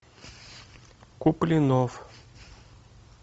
куплинов